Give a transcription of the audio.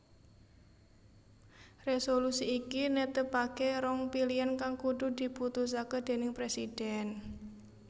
Resolusi iki netepake rong pilian kang kudu diputusake déning presiden